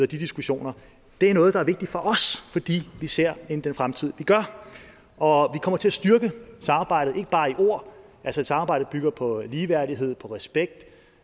diskussioner det er noget der er vigtigt for os fordi vi ser ind i den fremtid vi gør og kommer til at styrke samarbejdet ikke bare i ord altså samarbejdet bygger på ligeværdighed på respekt